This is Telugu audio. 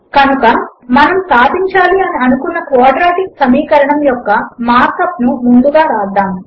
కనుక మనము సాధించాలి అని అనుకున్న క్వాడ్రాటిక్ సమీకరణము యొక్క మార్క్ అప్ ను ముందుగా వ్రాద్దాము